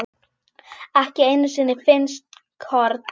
ekki einu sinni finnsk horn.